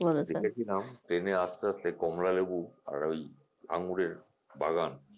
দেখেছিলাম train এ আসতে আসতে কমলা লেবু আর ওই আঙ্গুরের বাগান